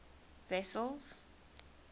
wessels